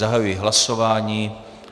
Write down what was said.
Zahajuji hlasování.